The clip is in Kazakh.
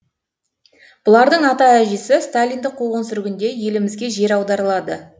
бұлардың ата әжесі сталиндік қуғын сүргінде елімізге жер аударылады